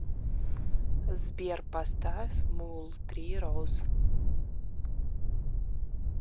сбер поставь муллтри роуз